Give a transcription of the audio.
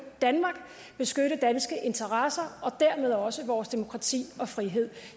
danmark beskytte danske interesser og dermed også vores demokrati og frihed